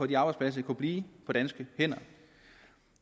de arbejdspladser kunne blive på danske hænder